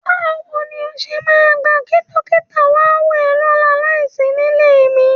Báwo ni o ṣe máa gbà kí dókítà wò ẹ́ lọ́la láìsí nílé mi?